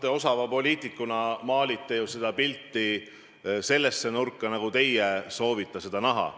No te osava poliitikuna maalite sellise pildi, nagu teie soovite näha.